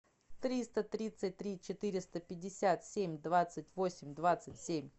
триста тридцать три четыреста пятьдесят семь двадцать восемь двадцать семь